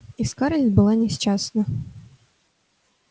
и скарлетт была несчастна